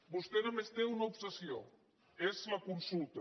vostè només té una obsessió és la consulta